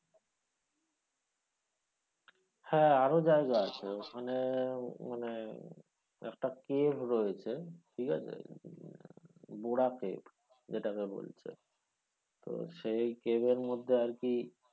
হ্যাঁ রো জায়গা আছে মানে একটা cave রয়েছে ঠিক আছে cave যেটাকে বলছে তো সেই cave এর মধ্যে আরকি,